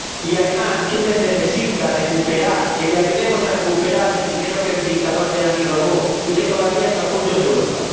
Y, además, Túnez necesita recuperar, que le ayudemos a recuperar el dinero que el dictador Ben Ali robó y que todavía está oculto en Europa.